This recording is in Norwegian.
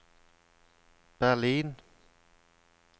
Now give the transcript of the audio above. Berlin